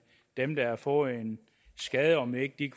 dem der har fået en skade og om ikke de